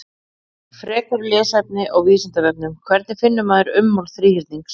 Frekara lesefni á Vísindavefnum: Hvernig finnur maður ummál þríhyrnings?